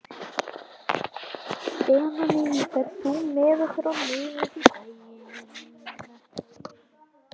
Benóný, ferð þú með okkur á miðvikudaginn?